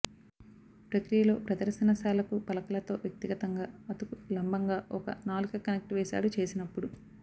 ప్రక్రియలో ప్రదర్శనశాలకు పలకలతో వ్యక్తిగతంగా అతుకు లంబంగా ఒక నాలుక కనెక్ట్ వేశాడు చేసినప్పుడు